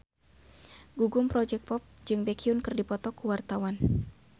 Gugum Project Pop jeung Baekhyun keur dipoto ku wartawan